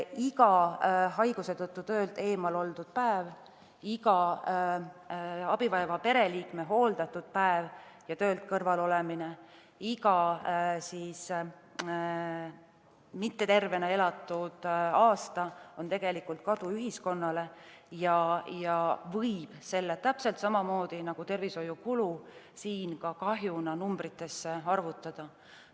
Iga haiguse tõttu töölt eemal oldud päev, iga abi vajava pereliikme hooldamisele pühendatud päev ja selle tõttu töölt kõrvale jäämine, iga mittetervena elatud aasta on tegelikult kadu ühiskonnale ja selle võib täpselt samamoodi nagu tervishoiukulu kahjuna numbritesse arvutada.